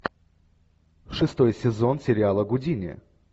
шестой сезон сериала гудини